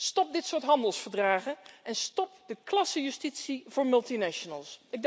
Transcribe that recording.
Stop dit soort handelsverdragen. En stop de klassenjustitie voor multinationals.